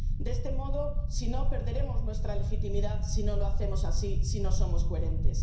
De este modo, perderemos nuestra legitimidad si no lo hacemos así, si no somos coherentes.